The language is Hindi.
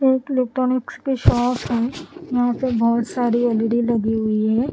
एक इलेक्ट्रॉनिक्स की शॉप है यहां पे बहोत सारी एल_इ_डी लगी हुई है।